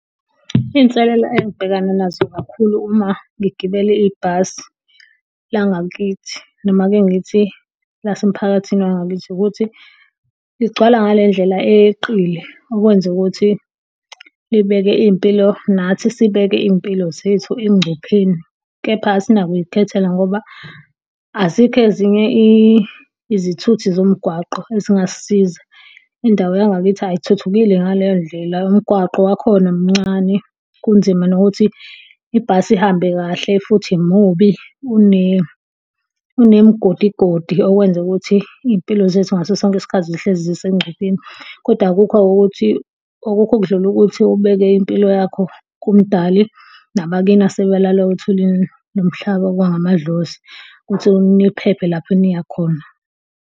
Iy'nselelo engibhekana nazo kakhulu uma ngigibele ibhasi langakithi, noma ake ngithi, lase mphakathini wangakithi, ukuthi ligcwala ngale ndlela eyeqile. Okwenza ukuthi libeke iy'mpilo, nathi sibeke iy'mpilo zethu engcupheni. Kepha asinakuy'khethela ngoba, azikho ezinye izithuthi zomgwaqo ezingasisiza. Indawo yangakithi ayithuthukile ngaleyo ndlela, nomgwaqo wakhona mncane. Kunzima nokuthi ibhasi ihambe kahle, futhi mubi unemigodigodi, okwenza ukuthi iy'mpilo zethu ngaso sonke isikhathi zihlezi zisengcupheni. Kodwa akukho-ke ukuthi, akukho okudlula ukuthi ubeke impilo yakho kuMdali nabakini asebalala othulini, nomhlaba, amadlozi ukuthi niphephe lapho eniyakhona.